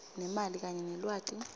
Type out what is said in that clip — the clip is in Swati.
nemali kanye nelwati